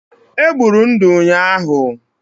È gburu ndụ ụnyahụ